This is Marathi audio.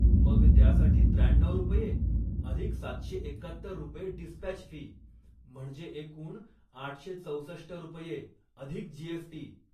मग त्यासाठी त्र्याण्णऊ रुपये अधिक सातशे एक्कात्तर रुपये डिस्पॅच फी, म्हणजे एकूण आठशे चौसष्ट रुपये, अधिक जी.एस.टी.